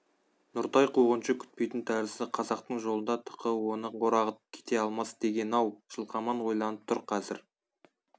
нұртай қуғыншы күтпейтін тәрізді қазақтың жолында тықы оны орағытып кете алмас деген-ау жылқаман ойланып тұр қазір